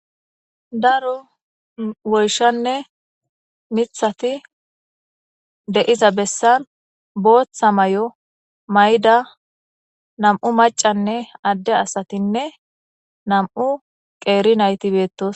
daro woyshanne mithati deiza bessan booththa mayo mayda nam7u macanne adde asatinne nam7u qeeri nayti beettos